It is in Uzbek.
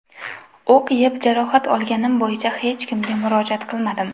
O‘q yeb, jarohat olganim bo‘yicha hech kimga murojaat qilmadim.